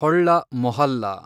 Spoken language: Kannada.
ಹೊಳ್ಳ ಮೊಹಲ್ಲಾ